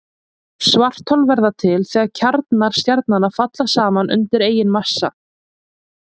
Svarthol verða til þegar kjarnar stjarnanna falla saman undan eigin massa.